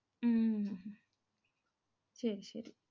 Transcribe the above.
உம் சரி சரி.